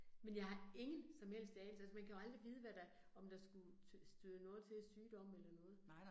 Men jeg har ingen som helst anelse, altså man kan jo aldrig vide, hvad der, om der skulle støde noget til af sygdomme eller noget